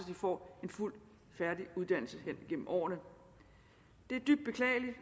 de får en fuld og færdig uddannelse gennem årene det er dybt beklageligt